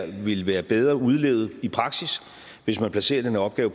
det ville være bedre udlevet i praksis hvis man placerede den opgave